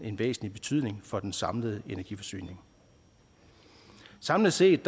en væsentlig betydning for den samlede energiforsyning samlet set